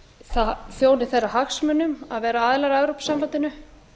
það þjóni þeirra hagsmunum að vera aðilar að evrópusambandinu